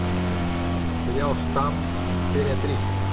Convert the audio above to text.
сериал штамм серия три